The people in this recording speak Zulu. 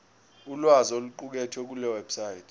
ulwazi oluqukethwe kulewebsite